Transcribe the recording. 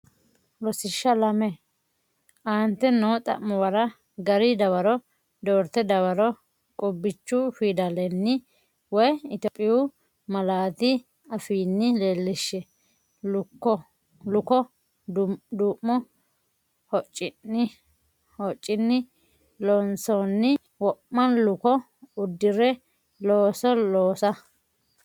Rosiishsha Lame Aante noo xa’muwara gari dawaro doorte dawaro qubbichu fidalenni woy Itophiyu malaatu afiinni leellishshe, luko, du’mu hoccinni loonsoonni wo’ma luko uddi’re looso loosa?